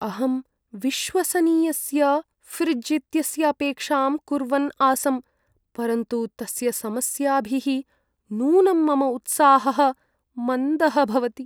अहं विश्वसनीयस्य फ़्रिज् इत्यस्य अपेक्षां कुर्वन् आसम्, परन्तु तस्य समस्याभिः नूनं मम उत्साहः मन्दः भवति।